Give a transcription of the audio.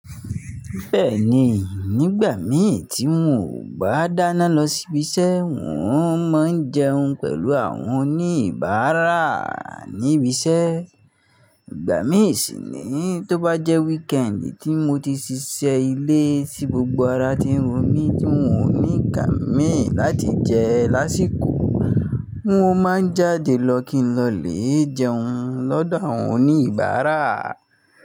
Bẹ́ẹ̀ni, nígbà mii tí n ò bá dáná lọ sí ibi iṣẹ́, n ò máa ń jẹun pẹ̀lú àwọn oníbaara ní ibi iṣẹ́. Ìgbà mí sì ni tó bá jẹ́ weekend tí mo ti ṣiṣẹ́ ilé tí gbogbo ara ti ń ro mí tí n ò ní ìkàn mii láti jẹ lásìkò, n ó máa ń jáde lọ kí n lọ lè jẹun lọ́dọ̀ àwọn oníbara.